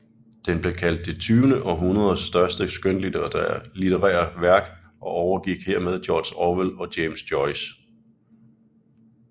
Den er kaldt det tyvende århundredets største skønlitterære værk og overgik hermed George Orwell og James Joyce